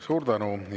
Suur tänu!